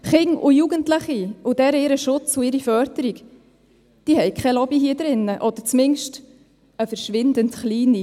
Kinder und Jugendliche sowie deren Schutz und Förderung haben hier drin keine Lobby, oder zumindest leider eine verschwindend kleine.